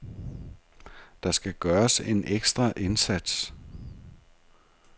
Der skal gøres en ekstra indsats.